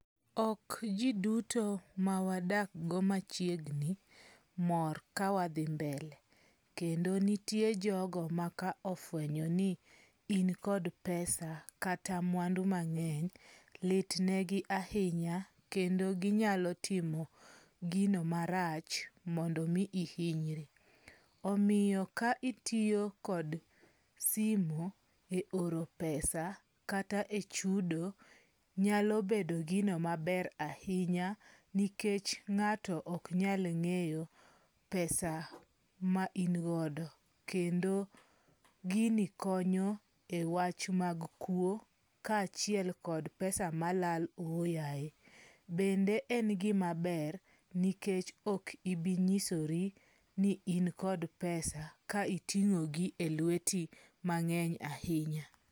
Ok ji duto mawadak go machiegni mor ka wadhi mbele. Kendo nitie jogo maka ofuenyo ni in kod pesa, kata mwandu mang'eny, lit negi ahinya kendo ginyalo timo gino marach mondo mi ihinyri. Omiyo ka itiyo kod simu e oro pesa [c s] kata e chudo, nyalo bedo gino maber ahinya nikech ng'ato ok nyal ng'eyo pesa ma in godo. Kendo gini konyo ewach mag kwo, kaachiel kod pesa malal ooyaye. Bende en gimaber nikech ok ibi nyisori ni in kod pesa ka iting'o gi elweti mang'eny ahinya.